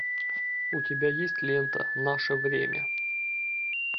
у тебя есть лента наше время